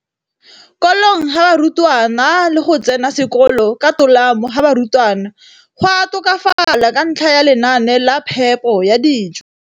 kolong ga barutwana le go tsena sekolo ka tolamo ga barutwana go a tokafala ka ntlha ya lenaane la phepo ya dijo.